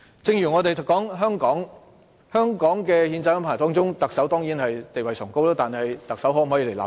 正如香港的憲制中，特首的地位當然崇高，但特首可否立法？